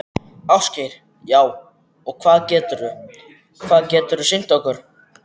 Ásgeir: Já, og hvað geturðu, hvað geturðu sýnt okkur?